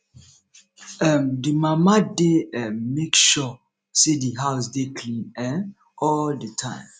um the mama de um make sure say di house dey clean um all the time